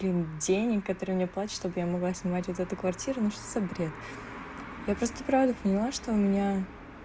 блин денег которые мне платят чтобы я могла снимать вот эту квартиру ну что за бред я просто правда поняла что у меня